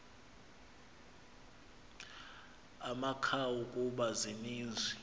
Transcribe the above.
amakhawu kuba zininzi